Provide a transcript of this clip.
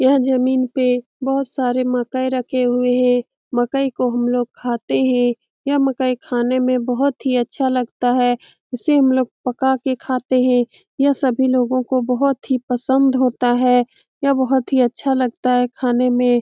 यह जमीन पे बहुत सारे मकई रखे हुए हैं मकई को हम लोग खाते है यह मकई खाने में बहुत ही अच्छा लगता है इसे हम लोग पका के खाते है यह सभी लोगो को बहुत ही पसंद होता है यह नहुत ही अच्छा लगता है खाने में ।